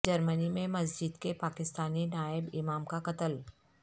جرمنی میں مسجد کے پاکستانی نائب امام کا قتل